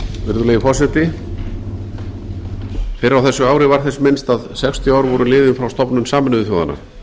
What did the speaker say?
virðulegi forseti fyrr á þessu ári var þess minnst að sextíu ár voru liðin frá stofnun sameinuðu þjóðanna